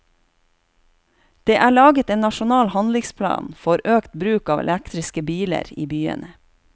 Det er laget en nasjonal handlingsplan for øket bruk av elektriske biler i byene.